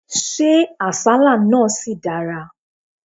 Ṣé àsálà náà ṣì dára?